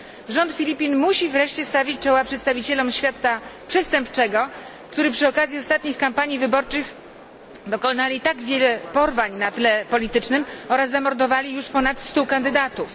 Rząd Filipin musi wreszcie stawić czoła osobom ze świata przestępczego, którzy przy okazji ostatnich kampanii wyborczych dokonali tak wielu porwań na tle politycznym oraz zamordowali już ponad stu kandydatów.